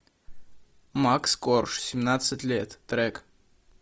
макс корж семнадцать лет трек